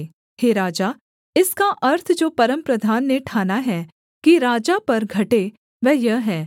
हे राजा इसका अर्थ जो परमप्रधान ने ठाना है कि राजा पर घटे वह यह है